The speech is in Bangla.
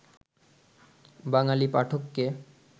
বাঙালি পাঠককে